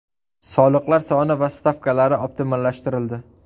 Soliqlar soni va stavkalari optimallashtirildi.